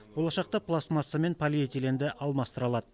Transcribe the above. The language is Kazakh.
болашақта пластмасса мен полиэтиленді алмастыра алады